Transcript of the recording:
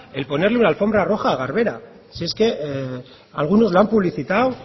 el ponerle una alfombra roja a garbera si es que algunos la han publicitado